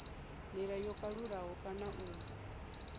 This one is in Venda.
ndila yo kalulaho kana u